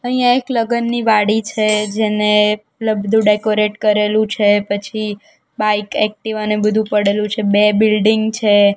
અહીંયા એક લગ્નની વાડી છે જેને લગતું ડેકોરેટ કરેલું છે પછી બાઈક એકટીવા ને બધું પડેલું છે બે બિલ્ડિંગ છે.